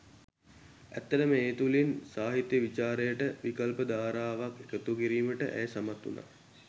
ඇත්තටම ඒ තුළින් සාහිත්‍ය විචාරයට විකල්ප ධාරාවක් එකතු කිරීමට ඇය සමත් වුණා.